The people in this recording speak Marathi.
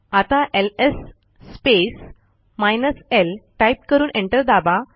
आता एलएस स्पेस l टाईप करून एंटर दाबा